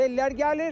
Tez-tez sellər gəlir.